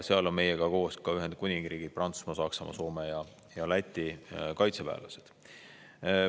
Seal on meiega koos ka Ühendkuningriigid, Prantsusmaa, Saksamaa, Soome ja Läti kaitseväelased.